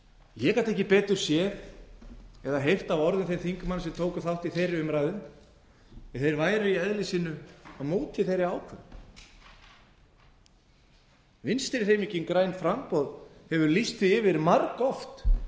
ég gat ekki betur séð eða heyrt á orðum þeirra þingmanna sem tóku þátt í þeirri umræðu að þeir væru í eðli sínu á móti þeirri ákvörðun vinstri hreyfingin grænt framboð hefur lýst því yfir margoft